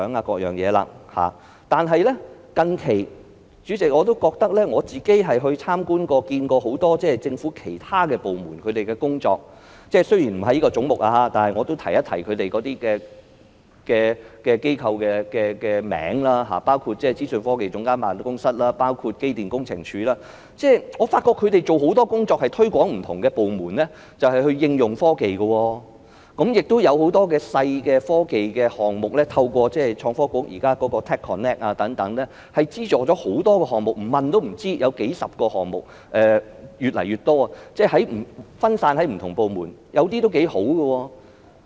不過，代理主席，我近來亦曾參觀了政府很多其他部門的工作，雖然不屬於這個總目，但我仍要提一提有關機構的名稱，包括政府資訊科技總監辦公室和機電工程署，我發覺他們做了很多工作，向不同部門推廣應用科技，亦有很多小型的科技項目，透過創新及科技局現時的 TechConnect 等獲得資助，不問也不知道，原來有數十個項目，而且越來越多，分散於不同部門，有些項目是頗不錯的。